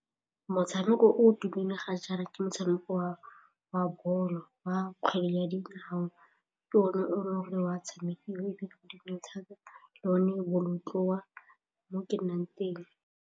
Motshameko o tumile ga jaana ke motshameko wa bolo, wa kgwele ya dinao, ke yone o e le gore o a tshamekiwa ebile thata le one bolotloa mo ke nnang teng.